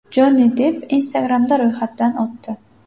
Jonni Depp Instagram’da ro‘yxatdan o‘tdi.